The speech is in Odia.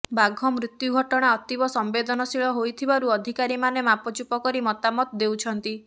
ବାଘ ମୃତ୍ୟୁ ଘଟଣା ଅତିବ ସମ୍ବେଦନଶୀଳ ହୋଇଥିବାରୁ ଅଧିକାରୀମାନେ ମାପଚୁପ କରି ମତାମତ ଦେଉଛନ୍ତି